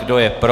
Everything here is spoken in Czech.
Kdo je pro?